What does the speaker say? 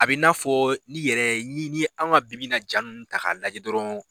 A bɛ i n'a fɔ n'i yɛrɛ ni an ka bi-bi in na ja ninnu ta k'a lajɛ dɔrɔn